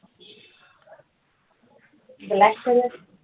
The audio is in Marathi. black colour